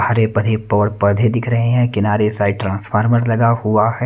हरे- भरे पड़- पौधे दिख रहे हैं किनारे साइड ट्रांसफार्मर लगा हुआ है।